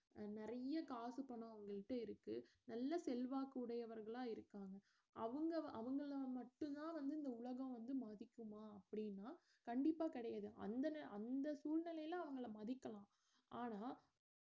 நிறைய காசு பணம் அவங்கள்ட்ட இருக்கு நல்ல செல்வாக்கு உடையவர்களா இருக்காங்க அவங்க அவங்களை மட்டும்தான் வந்து இந்த உலகம் வந்து மதிக்குமா அப்படினா கண்டிப்பா கிடையாது அந்த ந~ அந்த சூழ்நிலையில அவங்கள மதிக்கலாம் ஆனா